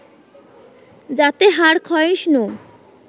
যাতে হাড় ক্ষয়িষ্ণু